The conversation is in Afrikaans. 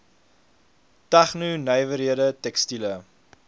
tegno nywerhede tekstiele